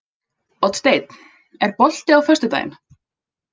Oddsteinn, er bolti á föstudaginn?